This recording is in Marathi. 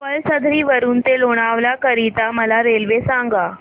पळसधरी वरून ते लोणावळा करीता मला रेल्वे सांगा